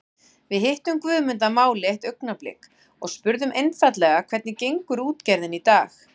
Við hittum Guðmund að máli eitt augnablik og spurðum einfaldlega hvernig gengur útgerðin í dag?